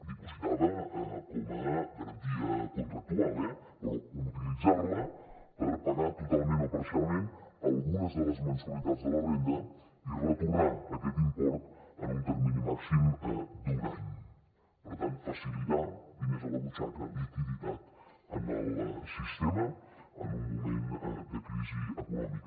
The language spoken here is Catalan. dipositada com a garantia contractual eh però utilitzar la per pagar totalment o parcialment algunes de les mensualitats de la renda i retornar aquest import en un termini màxim d’un any per tant facilitar diners a la butxaca liquiditat al sistema en un moment de crisi econòmica